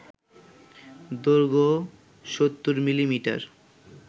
দৈর্ঘ্য ৭০ মিলিমিটার